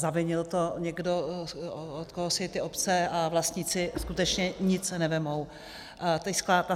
Zavinil to někdo, od koho si ty obce a vlastníci skutečně nic nevezmou.